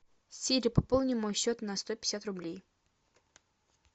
сири пополни мой счет на сто пятьдесят рублей